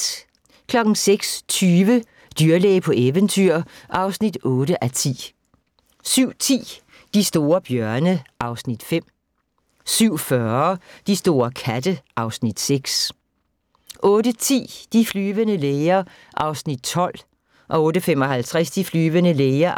06:20: Dyrlæge på eventyr (8:10) 07:10: De store bjørne (Afs. 5) 07:40: De store katte (Afs. 6) 08:10: De flyvende læger (12:237) 08:55: De flyvende læger